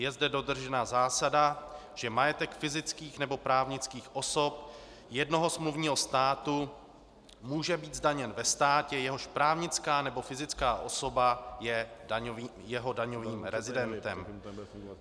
Je zde dodržena zásada, že majetek fyzických nebo právnických osob jednoho smluvního státu může být zdaněn ve státě, jehož právnická nebo fyzická osoba je jeho daňovým rezidentem.